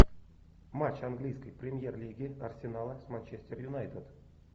матч английской премьер лиги арсенала с манчестер юнайтед